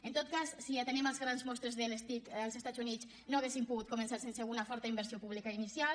en tot cas si atenem les grans mostres de les tic als estats units no hauríem pogut començar sense una forta inversió pública inicial